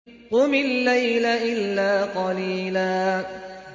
قُمِ اللَّيْلَ إِلَّا قَلِيلًا